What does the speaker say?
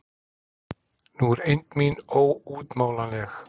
Nú er eymd mín óútmálanleg.